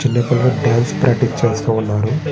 చిన్న పిల్లలు dance practice చేస్తూ ఉన్నారు.